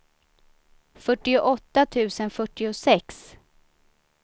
fyrtioåtta tusen fyrtiosex